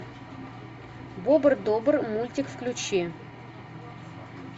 бобр добр мультик включи